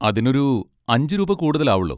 അതിനൊരു അഞ്ച് രൂപ കൂടുതൽ ആവൊള്ളൂ.